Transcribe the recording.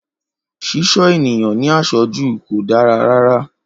Ṣíṣọ́ ènìyàn ní àṣọ́jù kò dára rárá